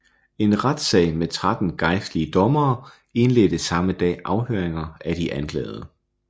En retssag med 13 gejstlige dommere indledte samme dag afhøringer af de anklagede